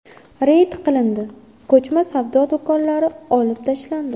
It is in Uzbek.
Reyd qilindi, ko‘chma savdo do‘konlari olib tashlandi.